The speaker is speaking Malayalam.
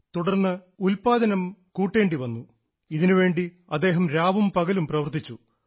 തുടർന്ന് ഉല്പാദനം കൂട്ടേണ്ടി വന്നു ഇതിനുവേണ്ടി അദ്ദേഹം രാവും പകലും പ്രവർത്തിച്ചു